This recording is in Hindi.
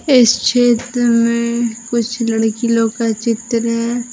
इस चित्र में कुछ लड़की लोग का चित्र है।